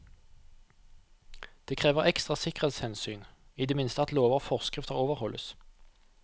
Det krever ekstra sikkerhetshensyn, i det minste at lover og forskrifter overholdes.